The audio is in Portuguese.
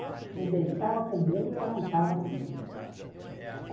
Você deitava com medo e levantava com medo.